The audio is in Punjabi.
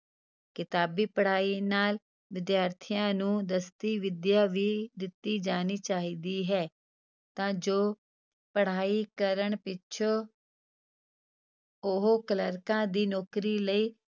ਕਿਤਾਬੀ ਪੜ੍ਹਾਈ ਨਾਲ ਵਿਦਿਆਰਥੀਆਂ ਨੂੰ ਦਸਤੀ ਵਿਦਿਆ ਵੀ ਦਿੱਤੀ ਜਾਣੀ ਚਾਹੀਦੀ ਹੈ ਤਾਂ ਜੋ ਪੜ੍ਹਾਈ ਕਰਨ ਪਿੱਛੋਂ ਉਹ ਕਲਰਕਾਂ ਦੀ ਨੌਕਰੀ ਲਈ।